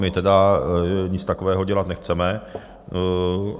My tedy nic takového dělat nechceme.